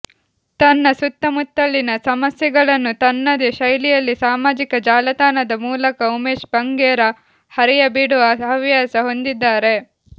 ತನ್ನ ಸುತ್ತಮುತ್ತಲಿನ ಸಮಸ್ಯೆಗಳನ್ನು ತನ್ನದೆ ಶೈಲಿಯಲ್ಲಿ ಸಾಮಾಜಿಕ ಜಾಲತಾಣದ ಮೂಲಕ ಉಮೇಶ್ ಬಂಗೇರ ಹರಿಯ ಬಿಡುವ ಹವ್ಯಾಸ ಹೊಂದಿದ್ದಾರೆ